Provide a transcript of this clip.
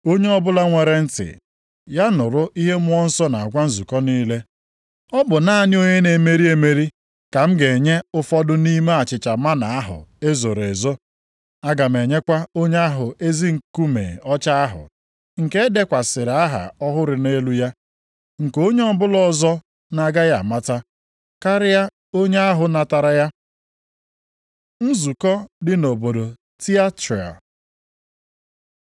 Onye ọbụla nwere ntị, ya nụrụ ihe Mmụọ Nsọ na-agwa nzukọ niile. Ọ bụ naanị onye na-emeri emeri ka m ga-enye ụfọdụ nʼime achịcha mánà ahụ e zoro ezo. Aga m enyekwa onye ahụ ezi nkume ọcha ahụ, nke edekwasịrị aha ọhụrụ nʼelu ya, nke onye ọbụla ọzọ na-agaghị amata, karịa onye ahụ natara ya. Nzukọ dị nʼobodo Tiatira